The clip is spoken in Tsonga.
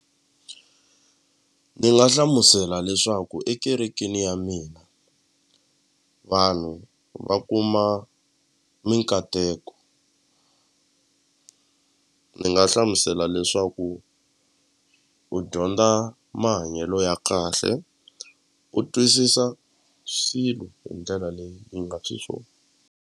Ni nga hlamusela leswaku ekerekeni ya mina vanhu va kuma minkateko ni nga hlamusela leswaku u dyondza mahanyelo ya kahle u twisisa swilo hi ndlela leyi yi nga .